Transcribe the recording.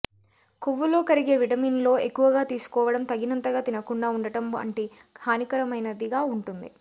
కొవ్వులో కరిగే విటమిన్లో ఎక్కువగా తీసుకోవడం తగినంతగా తినకుండా ఉండటం వంటి హానికరమైనదిగా ఉంటుంది